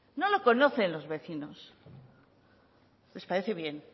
no lo conocen los vecinos les parece bien